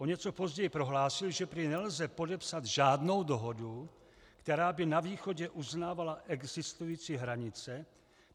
O něco později prohlásil, že prý nelze podepsat žádnou dohodu, která by na východě uznávala existující hranice.